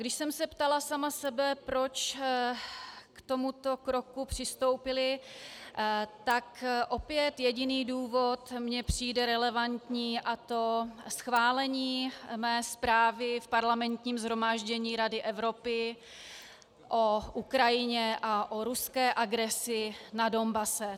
Když jsem se ptala sama sebe, proč k tomuto kroku přistoupili, tak opět jediný důvod mi přijde relevantní, a to schválení mé zprávy v Parlamentním shromáždění Rady Evropy o Ukrajině a o ruské agresi na Donbasu.